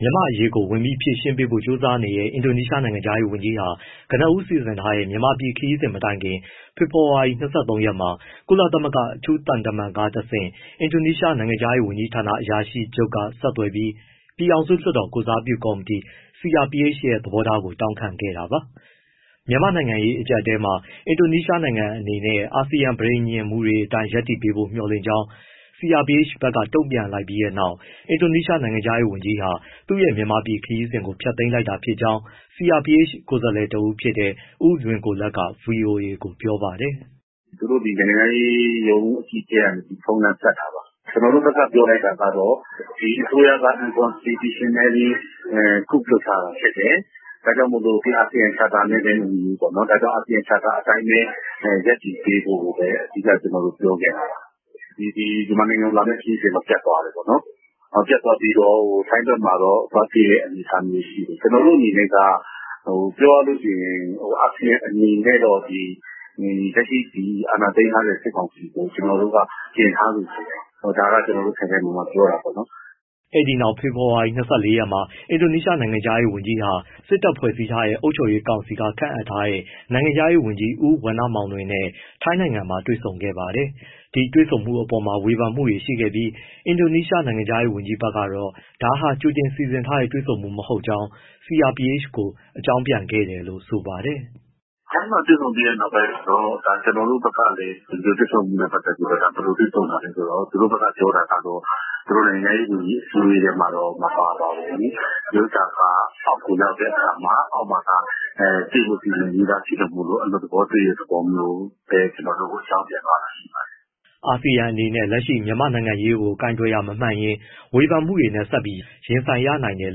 မြန်မာ့အရေးကို ဝင်ပြီး ဖြေရှင်းပေးဖို့ ကြိုးစားနေတဲ့ အင်ဒိုနီးရှားနိုင်ငံခြားရေးဝန်ကြီးဟာ ကနဦး စီစဉ်ထားတဲ့ မြန်မာပြည်ခရီးစဉ်မတိုင်ခင် ဖေဖော်ဝါရီ ၂၃ ရက်မှာ ကုလသမဂ္ဂအထူးသံတမန်ကတဆင့် အင်ဒိုနီးရှား နိုင်ငံခြားရေးဝန်ကြီးဌာန အရာရှိချုပ်က ဆက်သွယ်ပြီး ပြည်ထောင်စုလွှတ်တော် ကိုယ်စားပြုကော်မတီ CRPH ရဲ့ သဘောထားကို တောင်းခံခဲ့တာပါ။ မြန်မာ့ နိုင်ငံရေးအကြပ်အတည်းမှာ အင်ဒိုနီးရှားနိုင်ငံအနေနဲ့ အာဆီယံ ပဋိညာဉ်ပါ မူတွေအတိုင်း ရပ်တည်ပေးဖို့ မျှော်လင့်ကြောင်း CRPH ဘက်က တုံ့ပြန်လိုက်ပြီးတဲ့နောက် အင်ဒိုနီးရှားနိုင်ငံခြားရေးဝန်ကြီးဟာ သူ့ရဲ့ မြန်မာပြည်ခရီးစဉ်ကို ဖျက်သိမ်းလိုက်တာဖြစ်ကြောင်း CRPH ကိုယ်စားလှယ်တဦးဖြစ်တဲ့ ဦးလွင်ကိုလတ်က ဗွီအိုအေကို ပြောပါတယ်။ “သူတို့ နိုင်ငံခြားရေးရုံး အကြီးအကဲက ဖုန်းလှမ်းဆက်တာပါ။ ကျနော်တို့ဘက်က ပြောလိုက်တာကတော့ ဒီအစိုးရက unconstitutionally ပေါ့... coup လုပ်ထားတာဖြစ်တယ်ပေါ့။ ဒါကြောင့် အာဆီယံ charter နဲ့လည်း မညီဘူးပေါ့နော်။ ဒါကြောင့် အာဆီယံ charter အတိုင်းပဲ ရပ်တည်ပေးဖို့ အဓိက ကျနော်တို့ ပြောခဲ့တာပါ။ မြန်မာနိုင်ငံကို လာမယ့်ခရီးစဉ်တော့ ပျက်သွားတယ်ပေါ့နော်။ ပျက်သွားပြီးတော့ ထိုင်းဘက်မှာ သွားတွေ့တဲ့ အနေအထားမျိုးရှိတယ်။ ကျနော်တို့အနေနဲ့က ပြောရလို့ရှိရင် အာဆီယံအနေနဲ့တော့ လက်ရှိ အာဏာသိမ်းထားတဲ့ စစ်ကောင်စီကို ကျနော်တို့က ကျဉ်ထားစေချင်တယ်။ ဒါက ကျနော်တို့ ခိုင်ခိုင်မာမာ ပြောတာပေါ့နော်။” အဲဒီနောက် ဖေဖော်ဝါရီ ၂၄ ရက်မှာ အင်ဒိုနီးရှားနိုင်ငံခြားရေးဝန်ကြီး Retno Marsudi ဟာ စစ်တပ်ဖွဲ့စည်းထားတဲ့ အုပ်ချုပ်ရေးကောင်စီက ခန့်အပ်ထားတဲ့ နိုင်ငံခြားရေးဝန်ကြီး ဦးဝဏ္ဏမောင်လွင်နဲ့ ထိုင်းနိုင်ငံမှာတွေ့ဆုံခဲ့ပါတယ်။ ဒီတွေ့ဆုံမှုအပေါ်မှာ ဝေဖန်မှုတွေရှိခဲ့ပြီး အင်ဒိုနီရှားနိုင်ငံခြားရေးဌာနဘက်ကတော့ ဒါဟာ ကြိုတင်စီစဉ်ထားတဲ့ တွေ့ဆုံမှုမဟုတ်ကြောင်း CRPH ကို အကြောင်းပြန်ခဲ့တယ်လို့ ဆိုပါတယ်။ “ထိုင်းမှာ တွေ့ဆုံပြီးတဲ့နောက်ပိုင်းတော့ ကျနော်တို့ဘက်ကလည်း ဒီတွေ့ဆုံမှုနဲ့ပတ်သက်ပြီး ဘယ်လိုတွေ့ဆုံတာလဲဆိုတော့ သူတို့ဘက်က ပြောတာကတော့ သူတို့ နိုင်ငံခြားရေးဝန်ကြီး အစည်းအဝေးထဲမှာတော့ မပါပါဘူး။ ဒီဥစ္စာက အောက်ကိုရောက်တဲ့အခါမှာ အောက်မှာက တွေ့ဖို့ စီစဉ်ပြီးသားဖြစ်လို့ အလွတ်သဘော တွေ့တဲ့သဘောမျိုးလို့ ကျနော်တို့ကို အကြောင်းပြန်သွားတာ ရှိပါတယ်။” အာဆီယံအနေနဲ့ လက်ရှိမြန်မာ့အရေးကို ကိုင်တွယ်တာမမှန်ရင် ဝေဖန်မှုတွေနဲ့ ဆက်ပြီးရင်ဆိုင်ရနိုင်တယ်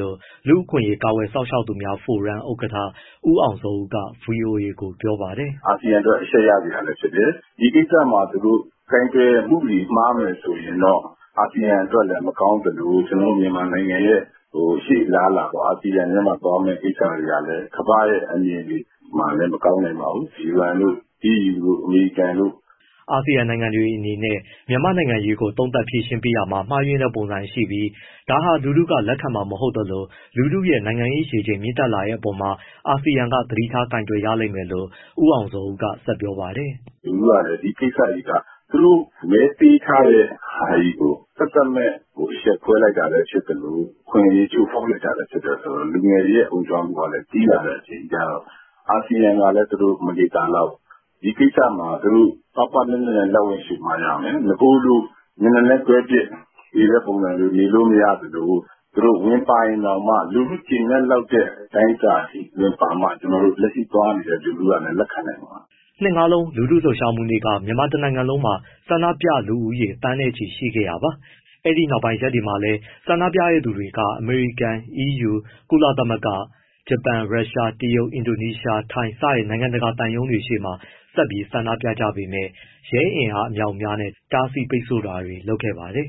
လို့ လူ့အခွင့်ရေး ကာကွယ်စောင့်ရှောက်သူများဖိုရမ် ဥက္ကဋ္ဌ ဦးအောင်ဇော်ဦးက ဗွီအိုအေကို ပြောပါတယ်။ “အာဆီယံအတွက်လည်း အရှက်ရစရာလည်း ဖြစ်တယ်။ ဒီကိစ္စမှာသူတို့ ကိုင်တွယ်မှုတွေ မှားမယ်ဆိုရင်တော့ အာဆီယံအတွက်လည်း မကောင်းသလို၊ ကျနော်တို့ မြန်မာနိုင်ငံရဲ့ ရှေ့အလားအလာပေါ့.. အာဆီယံထဲမှာ သွားမယ့်ကိစ္စတွေဟာလည်း ကမ္ဘာ့ရဲ့ အမြင်တွေမှာလည်း မကောင်းနိုင်ပါဘူး။ UN တို့၊ EU တို့၊ အမေရိကန်တို့။” အာဆီယံနိုင်ငံတွေအနေနဲ့ မြန်မာ့နိုင်ငံရေးကို သုံးသပ်၊ ဖြေရှင်းပေးတာမှာ မှားယွင်းတဲ့ပုံစံရှိပြီး ဒါကိုလူထုက လက်ခံမှာမဟုတ်သလို လူထုရဲ့ နိုင်ငံရေးရေချိန် မြင့်တက်လာတဲ့အပေါ်မှာ အာဆီယံက သတိထား ကိုင်တွယ်ရလိမ့်မယ်လို့ ဦးအောင်ဇော်ဦးက ဆက်ပြောပါတယ်။ “လူထုကလည်း ဒီကိစ္စကြီးက သူတို့မဲပေးထားတဲ့ဟာကြီးကို သက်သက်မဲ့ အရှက်ခွဲလိုက်တာလည်း ဖြစ်သလို၊ အခွင့်အရေး ချိုးဖောက်လိုက်တာလည်း ဖြစ်တယ်ဆိုတော့ လူငယ်တွေရဲ့ အုံကြွမှုကလည်း ကြီးလာတဲ့အချိန်ကျတော့ အာဆီယံကလည်း မနေသာလောက်ဘူး။ ဒီကိစ္စမှာ သူတို့ ပါးပါးနပ်နပ်နဲ့ လက်ဝင်လျှိုမှရမယ်။ အရင်လို မျက်နှာလွှဲခဲပစ်နေတဲ့ပုံစံ နေလို့မရသလို၊ သူတို့ဝင်ပါရင်တောင်မှ လူထုကျေနပ်လောက်တဲ့ အတိုင်းအတာအထိ ဝင်ပါမှ လက်ရှိသွားနေတဲ့ လူထုကလည်း လက်ခံနိုင်မှာပါ။” ၂၂၂၂၂ လူထုလှုပ်ရှားမှုနေ့က မြန်မာတနိုင်ငံလုံးမှာ ဆန္ဒပြသူဦးရေ သန်းနဲ့ချီရှိခဲ့တာပါ။ အဲဒီနောက်ပိုင်း ရက်တွေမှာလည်း ဆန္ဒပြသူတွေက အမေရိကန်၊ အီးယူ၊ ကုလသမဂ္ဂ၊ ဂျပန်၊ ရုရှား၊ တရုတ်၊ အင်ဒိုနီးရှား၊ ထိုင်း စတဲ့ နိုင်ငံတကာသံရုံးတွေရှေ့မှာ ဆက်ပြီးဆန္ဒပြကြပေမဲ့ ရဲအင်အား အမြောက်အများနဲ့ တားဆီးပိတ်ဆို့တာတွေ လုပ်ခဲ့ပါတယ်